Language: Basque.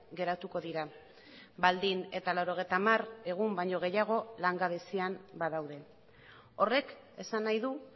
geratuko dira baldin eta laurogeita hamar egun baino gehiago langabezian badaude horrek esan nahi du